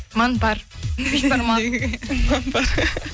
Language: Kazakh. манпар бешбармақ